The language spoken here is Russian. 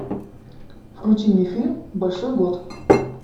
включи мне фильм большой год